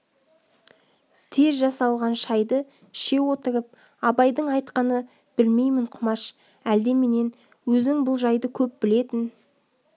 тез жасалған шайды іше отырып абайдың айтқаны білмеймін құмаш әлде менен өзің бұл жайды көп білетін